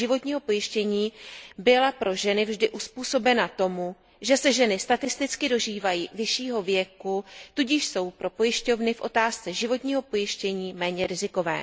u životního pojištění, byla pro ženy vždy uzpůsobena tomu, že se ženy statisticky dožívají vyššího věku, tudíž jsou pro pojišťovny v otázce životního pojištění méně rizikové.